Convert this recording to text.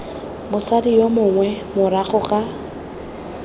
mosadi yo mongwe morago ga